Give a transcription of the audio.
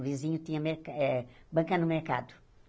O vizinho tinha me eh banca no mercado.